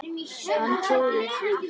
Hann trúði því.